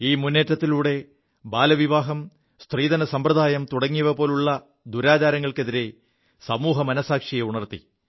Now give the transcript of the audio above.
ഈ മുേറ്റത്തിലൂടെ ബാലവിവാഹം സ്ത്രീധന സമ്പ്രദായം തുടങ്ങിയ ദുരാചാരങ്ങൾക്കെതിരെ സമൂഹമനസ്സാക്ഷിയെ ഉണർത്തി